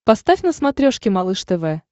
поставь на смотрешке малыш тв